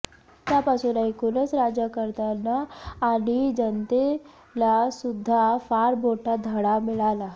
त्यापासून एकूणच राज्यकर्त्यांना आणि जनतेलासुध्दा फार मोठा धडा मिळाला